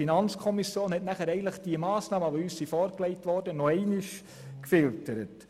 Die FiKo hat die uns vorgelegten Massnahmen anschliessend noch einmal gefiltert.